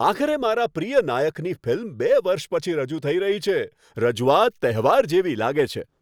આખરે મારા પ્રિય નાયકની ફિલ્મ બે વર્ષ પછી રજૂ થઈ રહી છે, રજૂઆત તહેવાર જેવી લાગે છે.